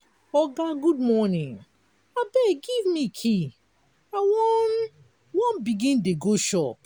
oga good morning abeg give me key i wan wan begin dey go shop.